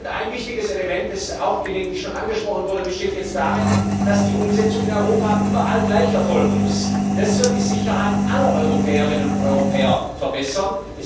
Ein wichtiges Element, das auch gelegentlich schon angesprochen wurde, besteht jetzt darin, dass die Umsetzung in Europa überall gleich erfolgen muss. Das wird die Sicherheit aller Europäerinnen und Europäer verbessern.